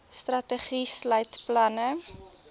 strategie sluit planne